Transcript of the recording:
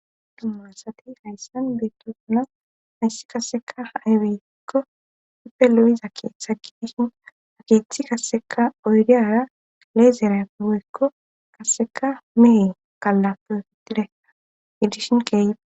dumma asati hayssan beetto suna hayssi kaseka hayweyeekko huppe lo7iza keeththa gi dishin ageeththi kasseka oyriyara aleezera gowekko kasseka mee gallappefittidea idishin keey.